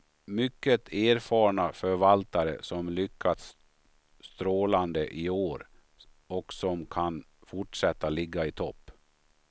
Mycket erfarna förvaltare som lyckats strålande i år och som kan fortsätta ligga i topp.